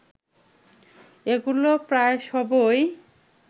এগুলো প্রায় সবই